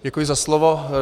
Děkuji za slovo.